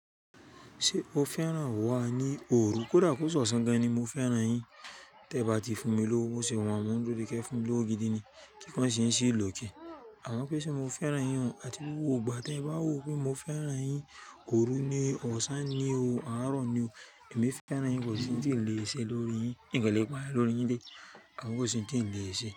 Ṣé o fẹ́ràn wa ní òru? Kódà kó ṣọ̀sán gan-an ni mo fẹ́ràn yín. Tí ẹẹ̀ ba ti fún mi lówó, ṣe wàá mò ń dúró de kẹ́ẹ fún mi lówó gidi ni? Kíkan ṣe ń ṣí ìlòkẹ̀. Àmọ́ pé ṣe mo fẹ́ràn yín un, àti rówó ò gbà. Tẹ́ẹ ba wò pé mo fẹ́ràn yín, òru ni, ọsan ni o, àárọ̀ ni o. Èmi fẹ́ràn yín, kò sí ohun tí n lè ṣe lórí yín. N kan lè pààyàn lórí yín le, àmọ́ kò sí un tí n lè ṣe.